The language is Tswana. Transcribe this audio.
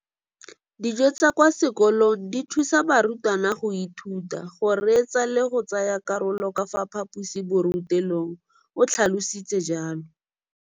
Dijo tsa kwa sekolong dithusa barutwana go ithuta, go reetsa le go tsaya karolo ka fa phaposiborutelong, o tlhalositse jalo.